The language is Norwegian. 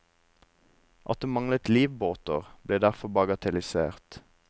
At det manglet livbåter ble derfor bagatellisert.